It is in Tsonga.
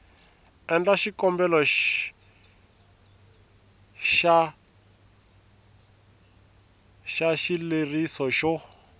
endla xikombelo xa xileriso xo